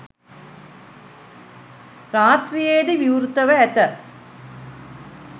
රාත්‍රියේ ද විවෘතව ඇත.